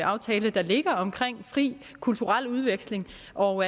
aftale der ligger om fri kulturel udveksling og